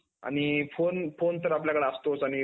आणि phone तर आपल्याकडे असतोच आणि